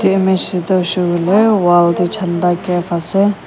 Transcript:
wall tey chendah gap ase.